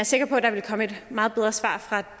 sikker på der vil komme et meget bedre svar fra